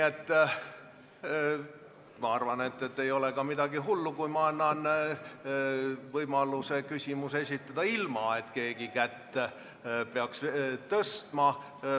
Aga ma arvan, et ei ole midagi hullu, kui annan võimaluse küsimuse esitada ka ilma, et keegi kätt peaks tõstma.